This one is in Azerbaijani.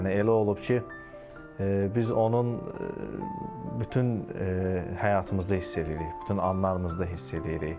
Yəni elə olub ki, biz onun bütün həyatımızda hiss eləyirik, bütün anlarımızda hiss eləyirik.